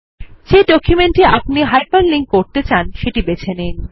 যে ডকুমেন্ট টি আপনি হাইপার লিঙ্ক করতে চান সেটি বেছে নিন